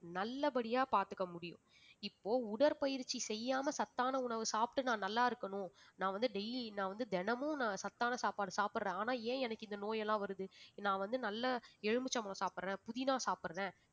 நல்லபடியா பார்த்துக்க முடியும் இப்போ உடற்பயிற்சி செய்யாம சத்தான உணவு சாப்பிட்டு நான் நல்லா இருக்கணும் நான் வந்து daily நான் வந்து தினமும் நான் சத்தான சாப்பாடு சாப்பிடுறேன் ஆனா ஏன் எனக்கு இந்த நோய் எல்லாம் வருது நான் வந்து நல்ல எலுமிச்சம்பழம் சாப்பிடுறேன் புதினா சாப்பிடுறேன்